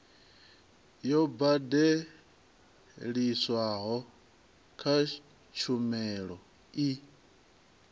yo badeliswaho kha tshumelo i